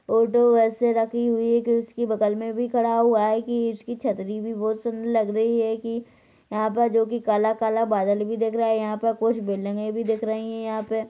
auto ऐसे रखी हुई हे के उसके बगल मे भी खड़ा हुआ हे की उसकी छतरी भी बहुत सुंदर लग रही हे की यहाँ पर जो की काला काला बादल भी दिख रहा हे यहाँ पर कुछ बिल्डिंगे भी लग रही हे यहाँ पे